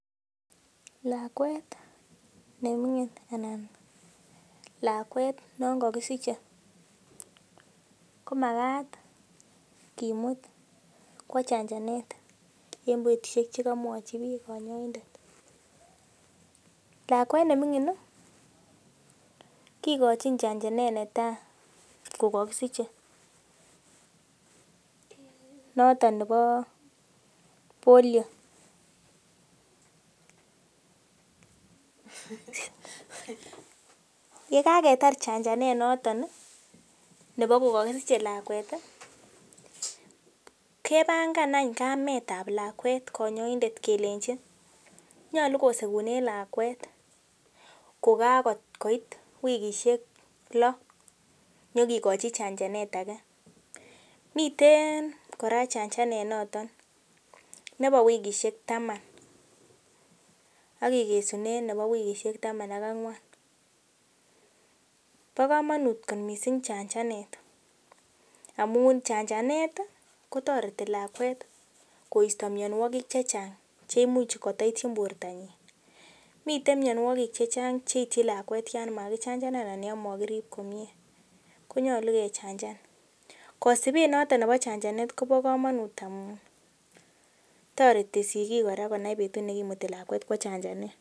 Lakwet non kakisiche komakat kimut chanjanet en betusiek chekamwa kanyoindet, kikochin chanjanet netai kokakisiche nebo Polio, kapangan any kamet ab lakwet kanyoindet kelenji nyolu kosekunen lakwet kokait wikisiek loo nyo kikochi chanjanet ake miten kora chanjanet nebo wikisiek taman akikesunen nebo wikisiek taman ak angwan .Bo kamanut chanjanet amun chanjanet kotoreti lakwet koisto myonwogik chachang' chekotoityin bortonyin. Miten myonwogik chechang cheityin lakwet yan kakichanjan anan yon mokirib komie kosibe noton nebo chanjanet kobo kamanut amun toreti sikik konae betut nekimuti lakwet kwo chanjanet.